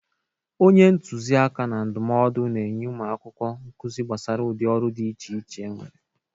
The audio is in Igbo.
Onye ntuzi aka na ndụmọdụ na-enye ụmụ akwụkwọ nkụzị gbasara udị ọrụ dị iche iche enwere.